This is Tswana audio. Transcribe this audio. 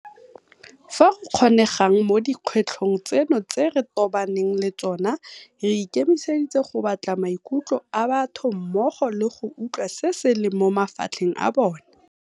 Fa go kgonegang mo dikgwetlhong tseno tse re tobaneng le tsona, re ikemiseditse go batla maikutlo a batho mmogo le go utlwa se se leng mo mafatlheng a bona.